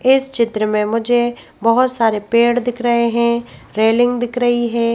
इस चित्र में मुझे बहुत सारे पेड़ दिख रहे हैं रेलिंग दिख रही है।